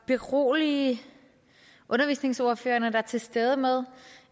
berolige undervisningsordførerne der er til stede med